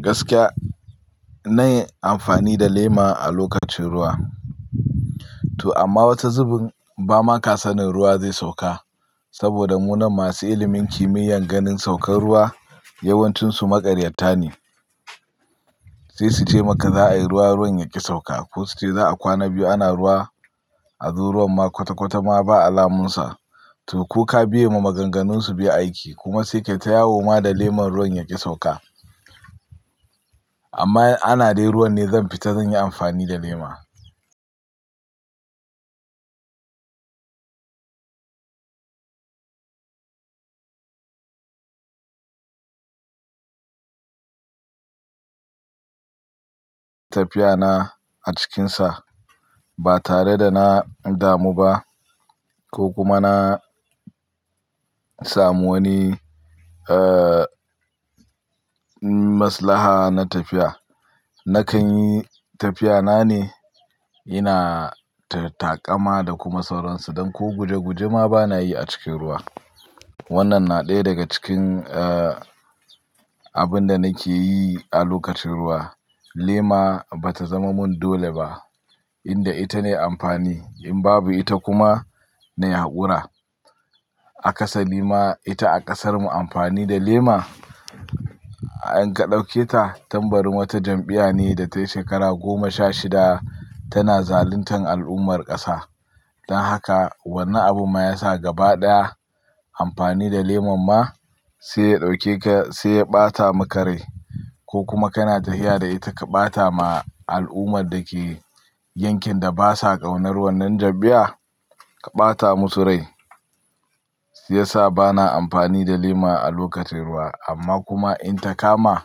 Gaskiya na yi amfani da lema a lokacin ruwa. Toh amma wata zubin ba ma ka sanin ruwa zai sauka. Saboda munanan masu ilimin kimiyyar ganin saukar ruwa yawancinsu maƙaryata ne. Sai su ce maka za a yi ruwa, ruwan yaƙi sauka ko su ce za a kwana biyu ana ruwa, a zo ruwan ma kwata kwata ma ba alamunsa. Toh ko ka biya ma maganganunsu biya aiki, kuma sai kai ta yawo ma da lemon ruwan yaƙi sauka. Amma ana dai ruwan ne zan fita zan yi amfani da lema. Tafiya na a cikinsa ba tare da na damu ba ko kuma na samu wani, eh, maslaha na tafiya, Nakan yi tafiya na ne, ina taƙama da kuma sauransu don ko guje guje ma bana yi a cikin ruwa. Wannan na ɗaya daga cikin, eh, abun da nake yi a lokacin ruwa. Lema ba ta zama mun dole ba. Inda ita nayi amfani in babu ita kuma na haƙura. A ƙasa ma ita a ƙasarmu amfani da lema, in ka ɗauke ta tambari wata jam'iya ne da ta shekara goma sha shida tana zaluntan al'ummar ƙasa. Don haka wanne abun ma ya sa gaba ɗaya, amfani da lemon ma. Sai ya ɗauke ka sai ya ɓata maka rai ko kuma kana tafiya da ita ka ɓata ma al'ummar da ke. Yankin da ba sa ƙaunar wannan jam'iya, ka ɓata musu rai. Shi ya sa bana amfani da lema a lokacin ruwa, amma kuma in ta kama.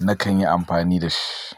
Nakan yi amfani da shi.